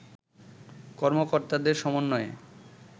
কর্মকর্তাদের সমন্বয়ে